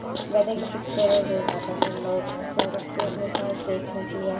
गधे की पिक्चर है जो ज्यादा तर लोग शो रखते है अपने पास देखने के लिए --